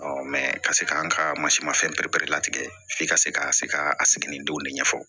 ka se k'an ka masi mafɛn pɛrɛla tigɛ f'i ka se ka se ka a siginindenw de ɲɛfɔ